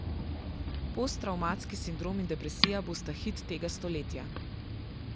Posttravmatski sindrom in depresija bosta hit tega stoletja.